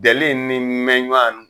Dɛli in ni mɛɲuan n